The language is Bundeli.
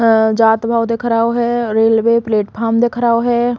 अ जात भओ दिख रओ है। रेलवे प्लेटफार्म दिख रओ है।